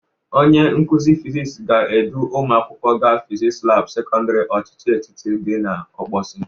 Onye nkụzị fisiks ga-edu ụmụ akwụkwọ ga fiskis labụ sekọndịrị ochịchị etiti dị n'Ọkpọsị.